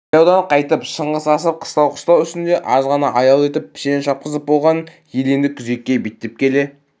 жайлаудан қайтып шыңғыс асып қыстау-қыстау үстінде аз ғана аял етіп пішен шапқызып болған ел енді күзекке беттеп келе